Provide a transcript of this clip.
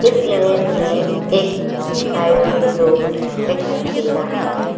इस इमेज में एक हाईवे रोड दिखाई दे रहा है।